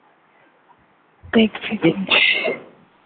দেখছি দেখছি